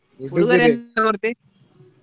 ಎಂತ ಕೊಡ್ತಿ?